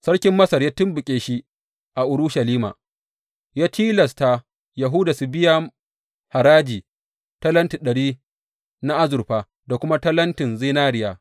Sarkin Masar ya tumɓuke shi a Urushalima, ya tilasta Yahuda su biya haraji talenti ɗari na azurfa da kuma talentin zinariya.